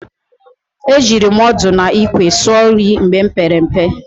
E jiri ọdụ n'ikwe sụọ nri mgbe m pere mpe.